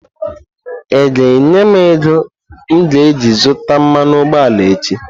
Ị ga-enye m ego m ga-eji zụta mmanụ ụgbọala echi!